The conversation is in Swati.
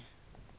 sitsandze tilwane